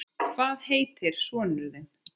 Hvað heitir sonur þinn?